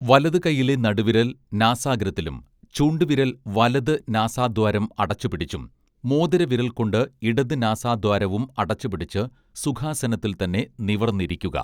വലതുകൈയിലെ നടുവിരൽ നാസാഗ്രത്തിലും ചൂണ്ടുവിരൽ വലത് നാസാദ്വാരം അടച്ചു പിടിച്ചും മോതിരവിരൽകൊണ്ട് ഇടത് നാസാദ്വാരവും അടച്ച് പിടിച്ച് സുഖാസനത്തിൽത്തന്നെ നിവർന്നിരിക്കുക